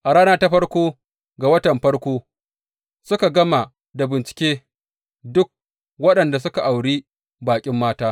A rana ta farko ga watan farko, suka gama da bincike duk waɗanda suka auri baƙin mata.